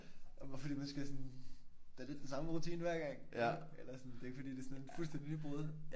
Fordi man skal sådan det er lidt den samme rutine hver gang. Er det ikke? Eller sådan det er ikke fordi det er sådan et fuldstændigt nybrud